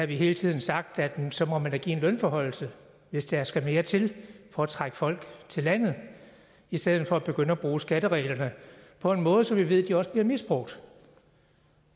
vi hele tiden sagt at man da så må give en lønforhøjelse hvis der skal mere til for at trække folk til landet i stedet for at begynde at bruge skattereglerne på en måde som vi ved også bliver misbrugt